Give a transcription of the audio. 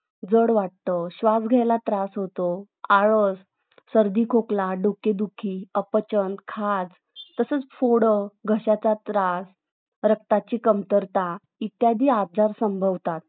जड वाटत श्वास घ्यायला त्रास होतो सर्दी खोकला डोकेदुखी अपचन खाजत तसंच फोडा घश्याचा त्रास रक्ताची कमतरता इत्यादी आजार संभवतात